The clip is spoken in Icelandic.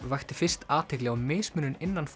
vakti fyrst athygli á mismunun innan